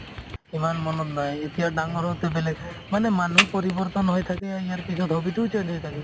ইমান মনত নাই এতিয়া ডাঙৰ হওতে বেলেগ মানে মানুহ পৰিবৰ্তন হৈ থাকে ইয়াৰ পিছত hobby তোও change হৈ থাকে